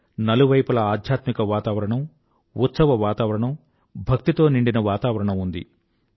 నలువైపులా ఆధ్యాత్మిక వాతావరణం ఉత్సవ వాతావరణం భక్తితో నిండిన వాతావరణం ఉంది